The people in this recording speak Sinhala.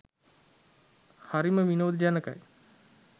හරිම විනෝද ජනකයි.